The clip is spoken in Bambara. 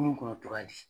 Kunun kɔnɔ togoya di